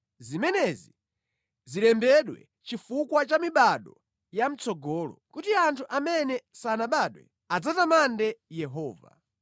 Zimenezi zilembedwe chifukwa cha mibado ya mʼtsogolo, kuti anthu amene sanabadwe adzatamande Yehova: